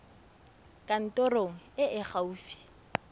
kantorong e e fa gaufi